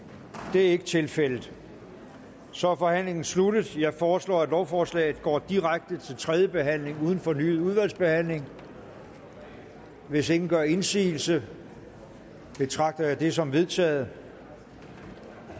det er ikke tilfældet så er forhandlingen sluttet jeg foreslår at lovforslaget går direkte til tredje behandling uden fornyet udvalgsbehandling hvis ingen gør indsigelse betragter jeg det som vedtaget